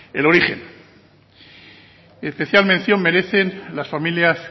el origen especial mención merecen las familias